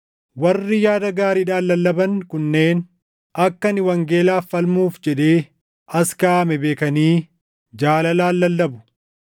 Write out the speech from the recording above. Warri yaada gaariidhaan lallaban kunneen, akka ani wangeelaaf falmuuf jedhee as kaaʼame beekanii jaalalaan lallabu.